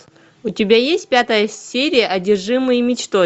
у тебя есть пятая серия одержимые мечтой